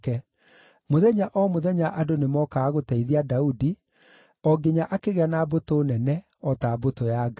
Mũthenya o mũthenya andũ nĩmookaga gũteithia Daudi, o nginya akĩgĩa na mbũtũ nene, o ta mbũtũ ya Ngai.